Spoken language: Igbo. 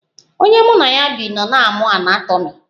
Onye mụ na ya bi nọ na-amụ anatomi